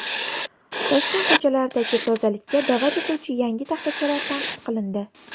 Toshkent ko‘chalaridagi tozalikka da’vat etuvchi yangi taxtachalar tanqid qilindi.